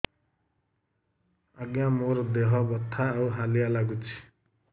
ଆଜ୍ଞା ମୋର ଦେହ ବଥା ଆଉ ହାଲିଆ ଲାଗୁଚି